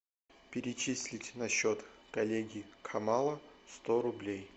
перечислить на счет коллеги канала сто рублей